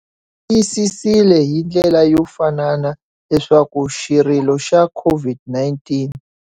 Tiyisisile hi ndlela yo fanana leswaku xirilo xa COVID-19.